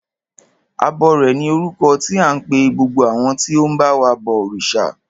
Abọrẹ̀ ni orúkọ tí à ń pe gbogbo àwọn tí ó ń ba wa bọ òrìṣà.